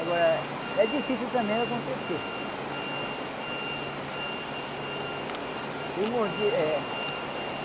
Agora, é difícil também acontecer eh. Fui mordi eh